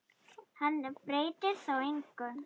Hann breytti þó engu.